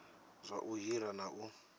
zwa u hira na u